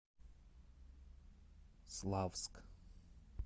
славск